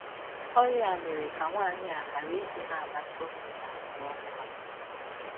Ọrịa a mere ka nwaanyị a gharadị ịna - amata ụmụ ya ma ọ hụ ha.